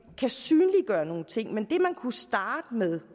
kan synliggøre nogle ting men det man kunne starte med